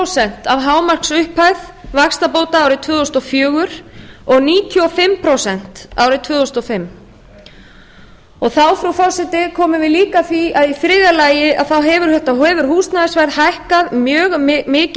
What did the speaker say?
prósent af hámarksupphæð vaxtabóta árið tvö þúsund og fjögur og níutíu og fimm prósent árið tvö þúsund og fimm þá frú forseti komum við líka að því að í þriðja lagi hefur húsnæðisverð hækkað mjög mikið